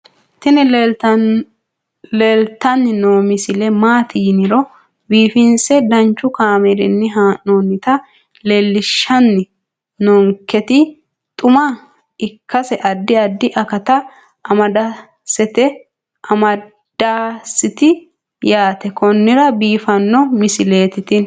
tini leeltanni noo misile maaati yiniro biifinse danchu kaamerinni haa'noonnita leellishshanni nonketi xuma ikkase addi addi akata amadaseeti yaate konnira biiffanno misileeti tini